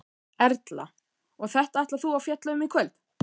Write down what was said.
Erla: Og þetta ætlar þú að fjalla um í kvöld?